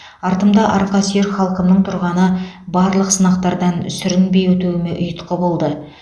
артымда арқасүйер халқымның тұрғаны барлық сынақтардан сүрінбей өтуіме ұйытқы болды